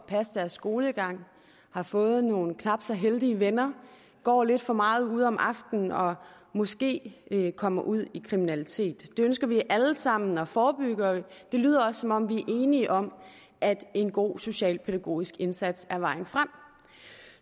passe deres skolegang har fået nogle knap så heldige venner går lidt for meget ud om aftenen og måske kommer ud i kriminalitet det ønsker vi alle sammen at forebygge og det lyder også som om vi er enige om at en god socialpædagogisk indsats er vejen frem